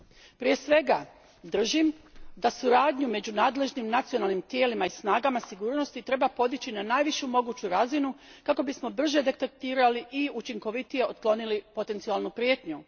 Držim, prije svega, da suradnju među nadležnim nacionalnim tijelima i snagama sigurnosti treba podići na najvišu moguću razinu kako bismo brže detektirali i učinkovitije otklonili potencijalnu prijetnju.